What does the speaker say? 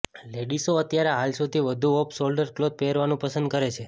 લેડીસો અત્યારે હાલ સૌથી વધુ ઑફ સોલ્ડર ક્લોથ પહેરવાનું પસંદ કરે છે